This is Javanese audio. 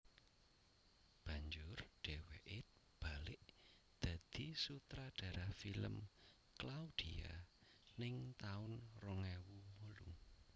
Banjur dheweke balik dadi sutradara film Claudia ning taun rong ewu wolu